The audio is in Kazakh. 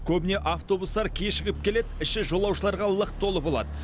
көбіне автобустар кешігіп келеді іші жолаушыларға лық толы болады